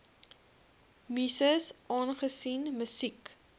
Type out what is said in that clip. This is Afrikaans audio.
muses aangesien musiek